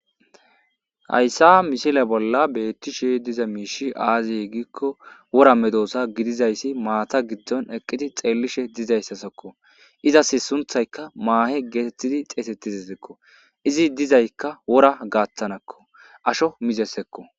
Hayssa mishile bolla beetti shi diza miishi aaziy giikko wora medosa gidizayssi maata giddon eqqiti xeellishe dizayssasakko izas sunthayka maahe geetettidi xeesettizi ekko izi dizaykka wora gaattanakko asho mizesekko.